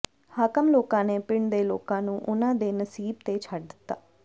ਹਾਕਮ ਲੋਕਾਂ ਨੇ ਪਿੰਡ ਦੇ ਲੋਕਾਂ ਨੂੰ ਉਹਨਾਂ ਦੇ ਨਸੀਬ ਤੇ ਛੱਡ ਦਿੱਤਾ